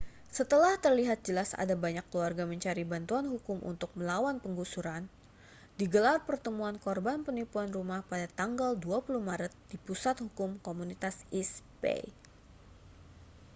setelah terlihat jelas ada banyak keluarga mencari bantuan hukum untuk melawan penggusuran digelar pertemuan korban penipuan rumah pada tanggal 20 maret di pusat hukum komunitas east bay